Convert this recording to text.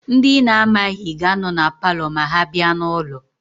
Ndị ị na-amaghị ga-anọ na paalọ ma ha bịa n'ụlọ.